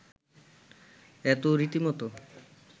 এ তো রীতিমত